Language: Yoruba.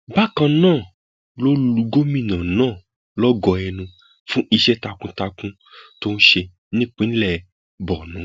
bákan náà ló lu gómìnà náà lógo ẹnu fún iṣẹ takuntakun tó ń ṣe nípìnlẹ borno